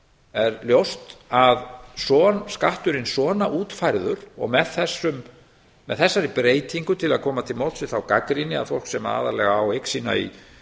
er ljóst að skatturinn svona útfærður og með þessum með þessari breytingu til að koma til móts við þá gagnrýni að fólk sem aðallega á eign sína í